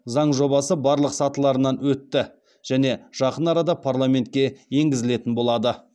заң жобасы барлық сатыларынан өтті және жақын арада парламентке енгізілетін болады